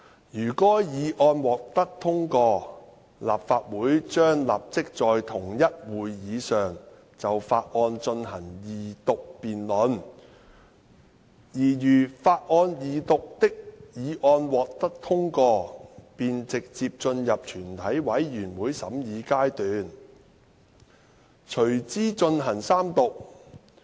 如該議案獲得通過，立法會將立即在同一會議上就法案進行二讀辯論，而如法案二讀的議案獲得通過，便直接進入全體委員會審議階段，隨之進行三讀。